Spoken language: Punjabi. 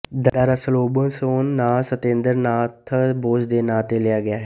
ਦਰਅਸਲਬੋਸੋਨ ਨਾਂ ਸਤੇਂਦਰ ਨਾਥ ਬੋਸ ਦੇ ਨਾਂ ਤੋਂ ਲਿਆ ਗਿਆ ਹੈ